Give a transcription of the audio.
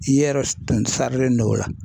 I yɛrɛ tun sarilen don o la